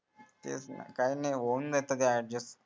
तेच ना काही नई होईल adjust